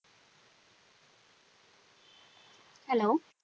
Hello